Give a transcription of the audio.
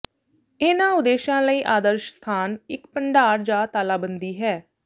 ਇਹਨਾਂ ਉਦੇਸ਼ਾਂ ਲਈ ਆਦਰਸ਼ ਸਥਾਨ ਇਕ ਭੰਡਾਰ ਜਾਂ ਤਾਲਾਬੰਦੀ ਹੈ